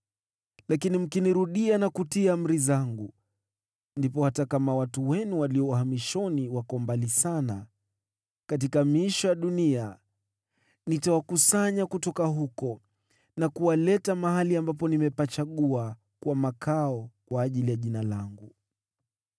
lakini mkinirudia na kutii amri zangu, ndipo hata kama watu wenu walio uhamishoni wako mbali sana katika miisho ya dunia, nitawakusanya kutoka huko na kuwaleta mahali ambapo nimepachagua kuwa makao kwa ajili ya Jina langu.’